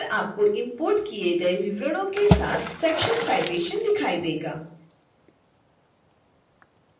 फिर आपको इंपोर्ट किए गए विवरणों के साथ section citation दिखाई देगा